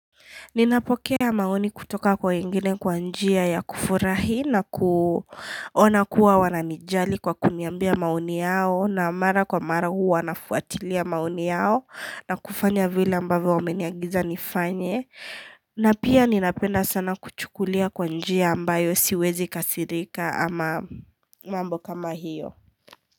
Ninapokea maoni kutoka kwa wengine kwa njia ya kufurahi na kuona kuwa wananijali kwa kuniambia maoni yao na mara kwa mara huwa nafuatilia maoni yao na kufanya vile ambavo wameniagiza nifanye na pia ninapenda sana kuchukulia kwa njia ambayo siwezi kasirika ama mambo kama hiyo.